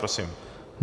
Prosím.